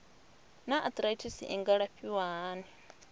naa arthritis i nga alafhiwa hani